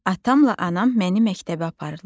Atamla anam məni məktəbə aparırlar.